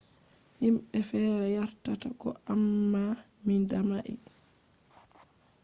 himbe fere yardata ko amma mi damai